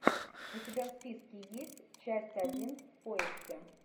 у тебя в списке есть часть один в поиске